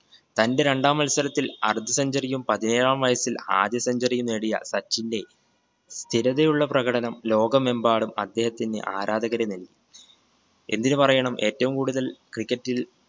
തന്റെ രണ്ടാം മത്സരത്തിൽ അർദ്ധ centuary യും പതിനേഴാം വയസ്സിൽ ആദ്യ centuary യും നേടിയ സച്ചിന്റെ സ്ഥിരതയുള്ള പ്രകടനം ലോകമെമ്പാടും അദ്ദേഹത്തിന് ആരാധകരെ നൽകി. എന്തിന് പറയണം ഏറ്റവും കൂടുതൽ cricket ൽ